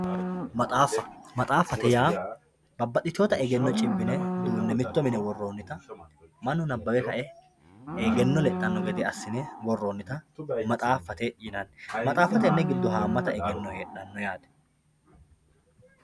maxaaffa maxaaffate yaa babbaxitinota egenno cibbine duunne mitto mine worroonnita mannu nabbawe kae egenno lexxanno gede assine worroonnita maxxaaffate yinani maxaaffa tenne giddo haammata egenno heedhanno yaate.